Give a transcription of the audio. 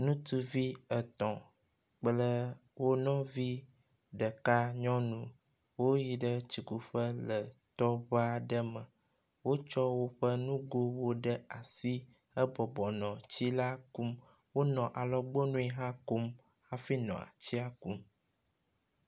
Nutsuvi etɔ̃ kple wo nɔvi ɖeka nyɔnu wyi ɖe tsikuƒe le tɔŋu aɖe me. Wotsɔ woƒe nugowo ɖe asi hebɔbɔ nɔ tsi la kum. Wonɔ alɔgbɔnui hã kom hafi nɔ tsi la kum.